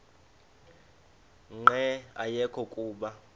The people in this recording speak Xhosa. nqe ayekho kuba